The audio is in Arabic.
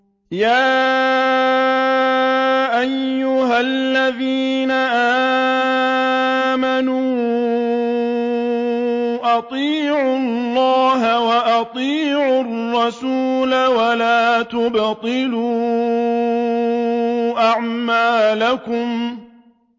۞ يَا أَيُّهَا الَّذِينَ آمَنُوا أَطِيعُوا اللَّهَ وَأَطِيعُوا الرَّسُولَ وَلَا تُبْطِلُوا أَعْمَالَكُمْ